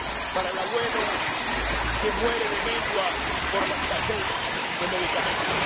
para el abuelo que muere de mengua por la escasez de medicamentos.